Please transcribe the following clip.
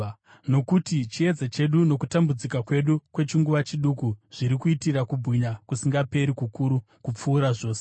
Nokuti chiedza chedu nokutambudzika kwedu kwechinguva chiduku zviri kutiitira kubwinya kusingaperi, kukuru kupfuura zvose.